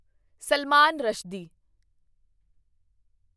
Salman Rushdie